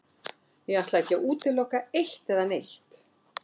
Ég ætla ekki að útiloka eitt eða neitt.